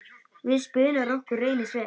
Við spuna rokkur reynist vel.